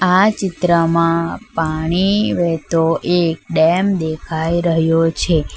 આ ચિત્રમાં પાણી વહેતો એક ડેમ દેખાઈ રહ્યો છે.